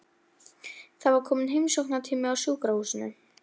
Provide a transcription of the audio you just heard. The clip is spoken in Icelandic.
Það var kominn heimsóknartími á sjúkrahúsinu.